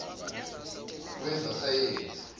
wezasayensi